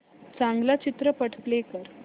चांगला चित्रपट प्ले कर